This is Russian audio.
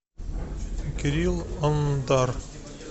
кирилл андар